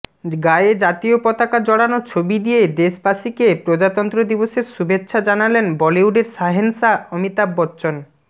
গায়ে জাতীয় পতাকা জড়ানো ছবি দিয়ে দেশবাসীকে প্রজাতন্ত্র দিবসের শুভেচ্ছা জানালেন বলিউডের শাহেনশা অমিতাভ বচ্চন